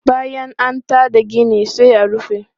Bayan an ta da gina sai a rufe.